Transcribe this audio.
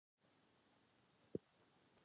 Við getum ekki verið hér í alla nótt, sagði Kobbi.